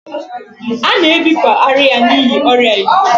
A na-ebipụ ara ya n'ihi ọrịa izi